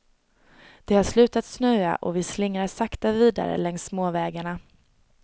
Det har slutat snöa och vi slingrar sakta vidare längs småvägarna.